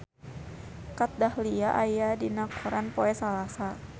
Kat Dahlia aya dina koran poe Salasa